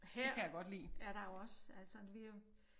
Her er der jo også altså vi jo